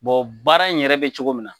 Bɔn baara in yɛrɛ be cogo min na